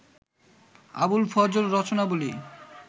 Abul Fazal Rachanabali